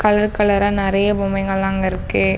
Colour கலர்ர நெறைய பொம்மைங்கல அங்க இருக்கு.